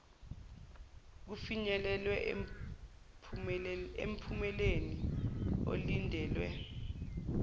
kufinyelelwe emphumeleni olindelwe